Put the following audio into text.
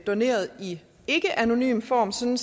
doneret i ikkeanonym form sådan